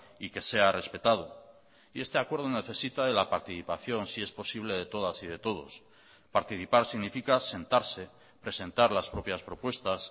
y que sea respetado y este acuerdo necesita de la participación si es posible de todas y de todos participar significa sentarse presentar las propias propuestas